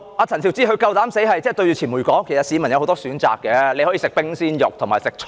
陳肇始竟敢面對傳媒說，其實市民有很多選擇，例如可以吃冰鮮肉或蔬菜。